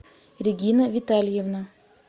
регина витальевна